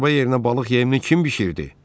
Şorba yerinə balıq yeymini kim bişirdi?